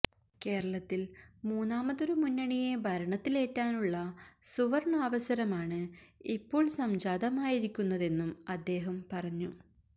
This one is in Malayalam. കേരളത്തില് മൂന്നാമതൊരു മുന്നണിയെ ഭരണത്തിലേറ്റാനുള്ള സുവര്ണ്ണാവസരമാണ് ഇപ്പോള് സംജാതമായിരിക്കുന്നതെന്നും അദ്ദേഹം പറഞ്ഞു